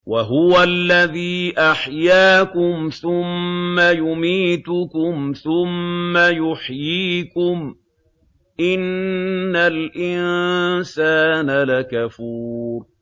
وَهُوَ الَّذِي أَحْيَاكُمْ ثُمَّ يُمِيتُكُمْ ثُمَّ يُحْيِيكُمْ ۗ إِنَّ الْإِنسَانَ لَكَفُورٌ